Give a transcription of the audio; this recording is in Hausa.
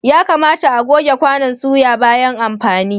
Ya kamata a'goge kwanon soya bayan amfani.